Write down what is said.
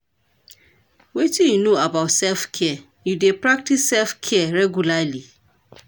wetin you know about self-care, you dey practice self-care regularly?